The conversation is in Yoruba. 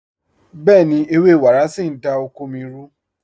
Bẹ̀ẹ̀ni, ẹwẹ́ wàrá sí n dá oko mí rù.